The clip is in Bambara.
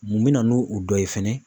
Mun bina n'o dɔ ye fɛnɛ.